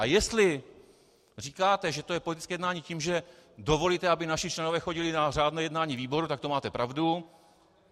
A jestli říkáte, že to je politické jednání, tím, že dovolíte, aby naši členové chodili na řádné jednání výboru, tak to máte pravdu.